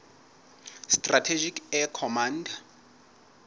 strategic air command